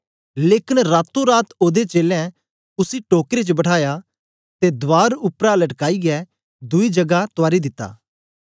लेकन रातोरात ओदे चेलें उसी टोकरे च बठाया ते दवार उपराउपरा लटकाईयै दुई जगा तुआरी दिता